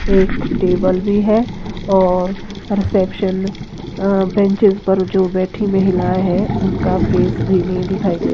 एक टेबल भी है और रिसेप्शन अ बेंचेज पर जो बैठी महिला है उनका फेस भी नहीं दिखाई दे --